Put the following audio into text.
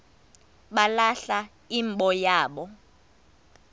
balahla imbo yabo